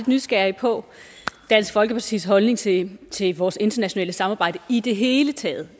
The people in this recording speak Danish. nysgerrig på dansk folkepartis holdning til til vores internationale samarbejde i det hele taget